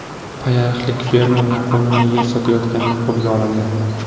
Payariqlik fermer noqonuniy yer sotayotganda qo‘lga olindi.